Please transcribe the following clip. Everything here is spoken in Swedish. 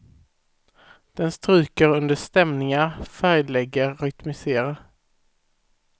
Den stryker under stämningar, färglägger, rytmiserar.